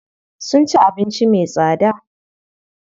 Sun ci abinci me tsada.